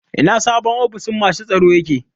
Ina sabon ofishin masu tsaro yake?